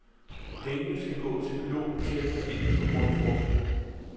Pengene skal gå til pilotprojekter indenfor grundforskning.